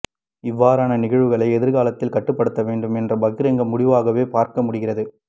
இவ்வாறான நிகழ்வுகளை எதிர்காலத்தில் கட்டுப்படுத்த வேண்டும் என்ற பகிரங்க முடிவாகவே பார்க்க முடிகிறது